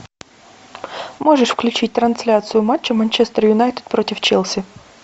можешь включить трансляцию матча манчестер юнайтед против челси